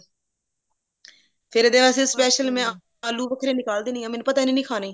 ਫੇਰ ਇਹਦੇ ਵਾਸਤੇ special ਮੈਂ ਆਲੂ ਵੱਖਰੇ ਨਿਕਾਲ ਦਿੰਦੀ ਹਾਂ ਮੈਨੂੰ ਪਤਾ ਇਹਨੇ ਨਹੀਂ ਖਾਨੇ